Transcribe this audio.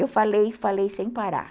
Eu falei, falei sem parar.